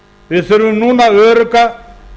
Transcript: við þurfum núna örugga